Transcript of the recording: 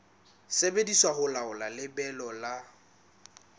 sebediswa ho laola lebelo la